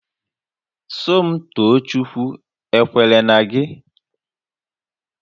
Somtoochukwu ekwere na gị?